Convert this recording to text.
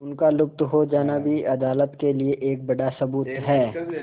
उनका लुप्त हो जाना भी अदालत के लिए एक बड़ा सबूत है